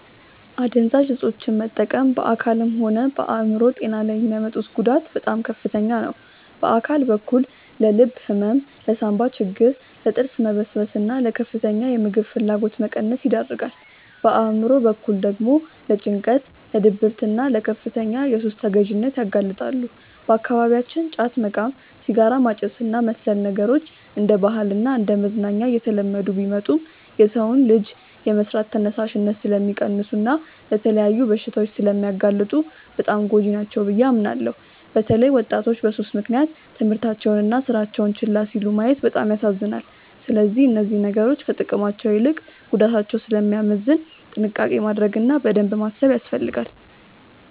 አደንዛዥ እፆችን መጠቀም በአካልም ሆነ በአእምሮ ጤና ላይ የሚያመጡት ጉዳት በጣም ከፍተኛ ነው። በአካል በኩል ለልብ ህመም፣ ለሳንባ ችግር፣ ለጥርስ መበስበስና ለከፍተኛ የምግብ ፍላጎት መቀነስ ይዳርጋል። በአእምሮ በኩል ደግሞ ለጭንቀት፣ ለድብርትና ለከፍተኛ የሱስ ተገዢነት ያጋልጣሉ። በአካባቢያችን ጫት መቃም፣ ሲጋራ ማጨስና መሰል ነገሮች እንደ ባህልና እንደ መዝናኛ እየተለመዱ ቢመጡም፣ የሰውን ልጅ የመስራት ተነሳሽነት ስለሚቀንሱና ለተለያዩ በሽታዎች ስለሚያጋልጡ በጣም ጎጂ ናቸው ብዬ አምናለሁ። በተለይ ወጣቶች በሱስ ምክንያት ትምህርታቸውንና ስራቸውን ችላ ሲሉ ማየት በጣም ያሳዝናል። ስለዚህ እነዚህ ነገሮች ከጥቅማቸው ይልቅ ጉዳታቸው ስለሚያመዝን ጥንቃቄ ማድረግ እና በደንብ ማሰብ ያስፈልጋል።